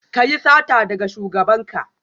Ka yi sata daga shugabanka?